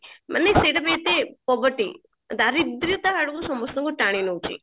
ମାନେ ସେଇଟା ପୁରା ଏତେ probity ଦାରିଦ୍ରତା ଆଡକୁ ସମସ୍ତଙ୍କୁ ଟାଣି ନଉଛି